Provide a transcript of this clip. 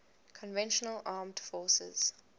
conventional armed forces